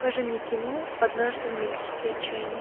покажи мне кино однажды в мексике отчаянный